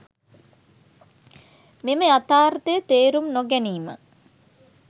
මෙම යථාර්ථය තේරුම් නොගැනීම